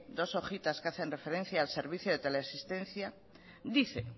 dos hojitas que hacen referencia el servicio de teleasistencia dice